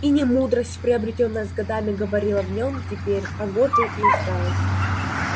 и не мудрость приобретённая с годами говорила в нем теперь а годы и усталость